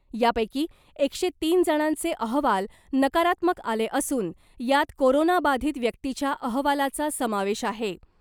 या पैकी एकशे तीन जणांचे अहवाल नकारात्मक आले असून यात कोरोना बाधित व्यक्तीच्या अहवालाचा समावेश आहे .